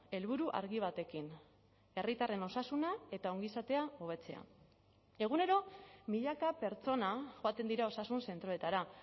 helburu argi batekin herritarren osasuna eta ongizatea hobetzea egunero milaka pertsona joaten dira osasun zentroetara